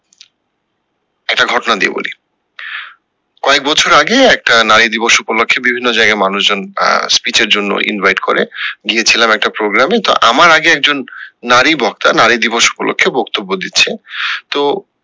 একটা ঘটনা দিয়ে বলি কয়েক বছর আগে একটা নারী দিবস উপলক্ষে বিভিন্ন জায়গায় মানুষজন বা speech এর জন্য invite করে, গিয়ে ছিলাম একটা program এ তো আমার আগে একজন নারী বক্তা নারী দিবস উপলক্ষে বক্ত্যব্য দিচ্ছে তো